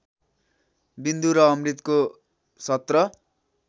विन्दु र अमृतको १७